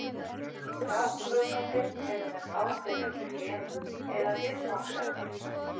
Ranghugmyndir eru með ákveðin þemu eða viðfangsefni.